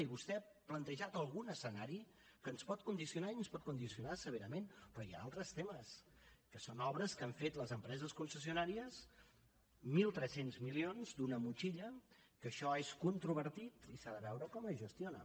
i vostè ha plantejat algun escenari que ens pot condicionar i ens pot condicionar severament però hi ha altres temes que són obres que han fet les empreses concessionàries mil tres cents milions d’una motxilla que això és controvertit i s’ha de veure com es gestiona